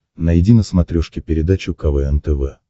найди на смотрешке передачу квн тв